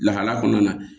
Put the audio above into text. Lahala kɔnɔna na